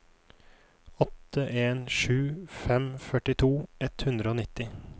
åtte en sju fem førtito ett hundre og nitti